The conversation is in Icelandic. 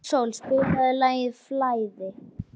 Náttsól, spilaðu lagið „Flæði“.